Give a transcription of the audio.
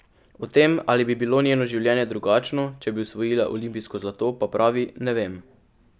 O tem, ali bi bilo njeno življenje drugačno, če bi osvojila olimpijsko zlato, pa pravi: "Ne vem.